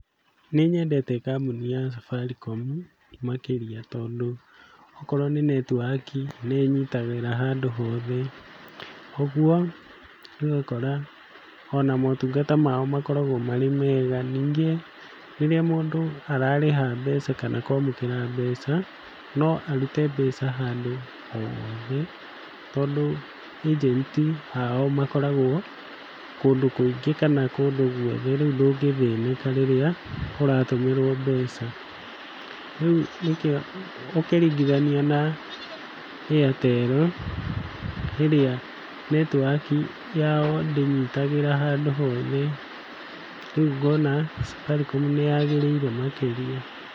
Nĩnyendete kambũni ya Safaricom makĩria tondũ okorwo nĩ network i nĩnyitagĩra handũ hothe, ũguo ũgakora ona motungata mao makoragwo marĩ mega, ningĩ rĩrĩa mũndũ ararĩha mbeca kana kwamũkĩra mbeca no arute mbeca handũ o hothe tondũ ĩgenti ao makoragwo kũndũ kũingĩ kana kũndũ guothe rĩu ndũngĩthĩnĩka rĩrĩa ũratũmĩrwo mbeca. Rĩu nĩkĩo ũkĩringithania na Airtel ĩrĩa network i yao ndĩnyitagĩra handũ hothe rĩu ngona Safaricom nĩyagĩrĩire makĩria.